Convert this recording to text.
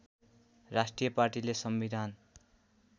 राष्ट्रिय पार्टीले संविधान